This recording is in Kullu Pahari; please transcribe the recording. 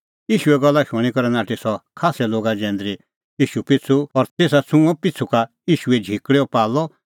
ईशूए गल्ला शूणीं करै नाठी सह खास्सै लोगा जैंदरी ईशू पिछ़ू और तेसा छ़ुंअ पिछ़ू का ईशूए झिकल़ैओ पाल्लअ